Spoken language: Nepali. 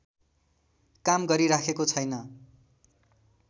काम गरिराखेको छैन